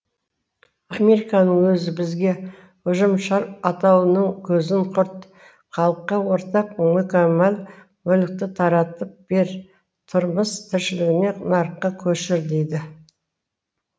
американың өзі бізге ұжымшар атаулының көзін құрт халыққа ортақ мүкәммал мүлікті таратып бер тұрмыс тіршілігіңді нарыққа көшір дейді